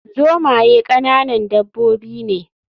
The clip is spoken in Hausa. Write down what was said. Zomaye ƙananan dabbobi ne